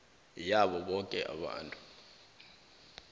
yabo boke abantu